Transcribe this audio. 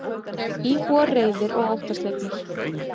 Íbúar reiðir og óttaslegnir